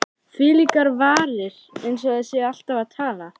Þvílíkar varir,- eins og þær séu alltaf að tala.